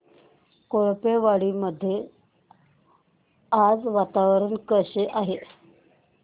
कोळपेवाडी मध्ये आज वातावरण कसे आहे